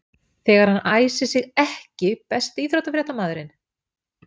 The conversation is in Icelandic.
þegar hann æsir sig EKKI besti íþróttafréttamaðurinn?